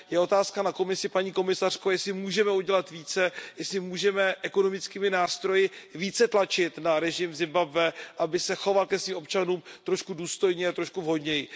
Je otázka na Komisi, paní komisařko, jestli můžeme udělat více, jestli můžeme ekonomickými nástroji více tlačit na režim v Zimbabwe, aby se choval ke svým občanům trošku důstojně a trošku vhodněji.